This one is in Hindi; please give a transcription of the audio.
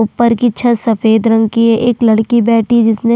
ऊपर की छत सफ़ेद रंग की है एक लड़की बैठी है जिसने--